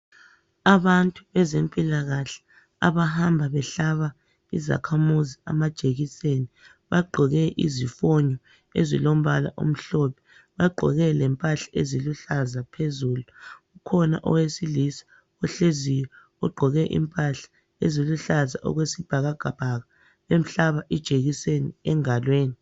Abantu bezempilakahle abahamba behlaba izakhamuzi amajekiseni bagqoke izifonyo ezilombala omhlophe bagqoke lempahla eziluhlaza phezulu kukhona owesilisa ohleziyo ogqoke impahla eziluhlaza okwesibhakabhaka bemhlaba ijekiseni engalweni.